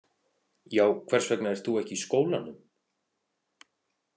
Já, hvers vegna ert þú ekki í skólanum?